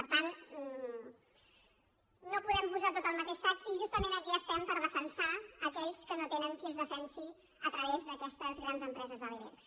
per tant no ho podem posar tot al mateix sac i justament aquí estem per defensar aquells que no tenen qui els defensi a través d’aquestes grans empreses de l’ibex